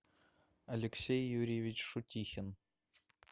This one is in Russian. алексей юрьевич шутихин